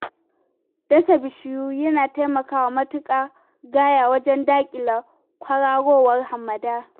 Dasa bishiyu na taimakawa matuƙa gaya wajen daƙile kwararowar hamada.